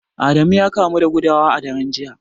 Adamu ya kamu da gudawa a daren jiya